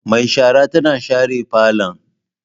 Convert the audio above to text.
Mai shara tana share falon.